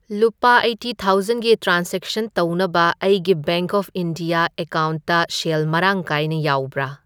ꯂꯨꯄꯥ ꯑꯩꯢꯠꯇꯤ ꯊꯥꯎꯖꯟꯒꯤ ꯇ꯭ꯔꯥꯟꯁꯖꯦꯛꯁꯟ ꯇꯧꯅꯕ ꯑꯩꯒꯤ ꯕꯦꯡꯛ ꯑꯣꯐ ꯏꯟꯗꯤꯌꯥ ꯑꯦꯀꯥꯎꯟꯇ ꯁꯦꯜ ꯃꯔꯥꯡ ꯀꯥꯏꯅ ꯌꯥꯎꯕꯔꯥ?